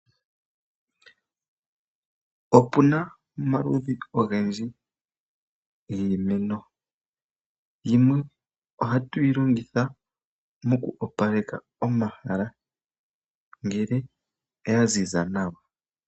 Opuna omaludhi ogendji giimeno. Yimwe oha tu yi longitha moku opaleka omahala ngele ya ziza nawa.